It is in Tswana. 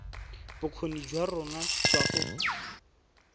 bokgoni jwa rona jwa go